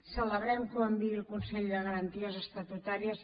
celebrem que ho enviï al consell de garanties estatutàries